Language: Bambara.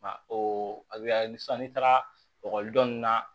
Nka o bɛ halisa n'i taara ekɔliden ninnu na